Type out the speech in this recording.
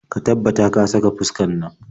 Ka tabbata ka saka fuskar nan.